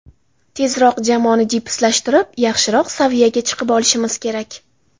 Tezroq jamoani jipslashtirib, yaxshiroq saviyaga chiqib olishimiz kerak.